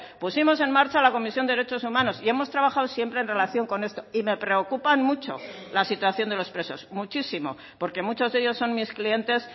pusimos en marcha la comisión de derechos humanos y hemos trabajado siempre en relación con esto y me preocupan mucho la situación de los presos muchísimo porque muchos de ellos son mis clientes